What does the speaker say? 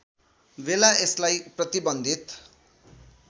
बेला यसलाई प्रतिबन्धित